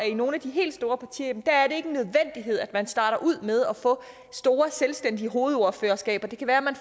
i nogle af de helt store partier at man starter ud med at få store selvstændige hovedordførerskaber det kan være at man